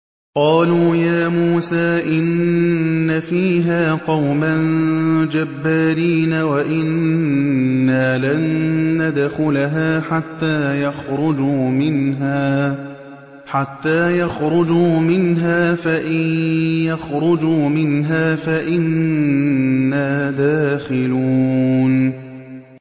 قَالُوا يَا مُوسَىٰ إِنَّ فِيهَا قَوْمًا جَبَّارِينَ وَإِنَّا لَن نَّدْخُلَهَا حَتَّىٰ يَخْرُجُوا مِنْهَا فَإِن يَخْرُجُوا مِنْهَا فَإِنَّا دَاخِلُونَ